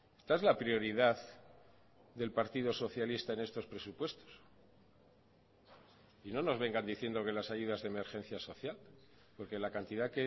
esta es la prioridad del partido socialista en estos presupuestos y no nos vengan diciendo que las ayudas de emergencia social porque la cantidad